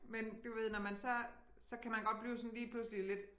Men du ved når man så så kan man godt blive sådan lige pludselig lidt